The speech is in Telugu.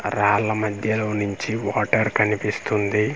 రాళ్ల మధ్యలోనించి వాటర్ కనిపిస్తుంది.